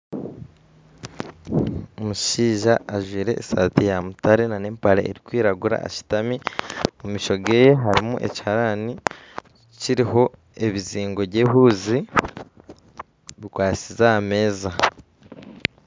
Omushaija ajwaire esaati ya mutare ajwaire empare erikwiragura ashutami omu maisho ge harimu ekiharani kiriho ebizingo byehuuzi bikwasize aha meeza